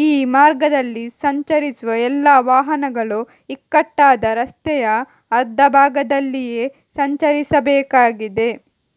ಈ ಮಾರ್ಗದಲ್ಲಿ ಸಂಚರಿಸುವ ಎಲ್ಲಾ ವಾಹನಗಳು ಇಕ್ಕಟ್ಟಾದ ರಸ್ತೆಯ ಅರ್ಧ ಭಾಗದಲ್ಲಿಯೇ ಸಂಚರಿಸಬೇಕಾಗಿದೆ